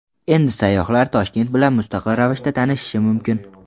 Endi sayyohlar Toshkent bilan mustaqil ravishda tanishishi mumkin.